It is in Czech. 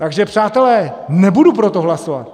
Takže přátelé, nebudu pro to hlasovat.